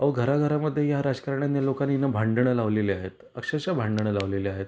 अहो घरा घरा मध्ये या राजकारण्या लोकांनी भांडण लावलेली आहेत. अक्षरशः भांडण लावलेली आहेत.